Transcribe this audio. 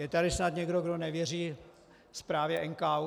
Je tady snad někdo, kdo nevěří zprávě NKÚ?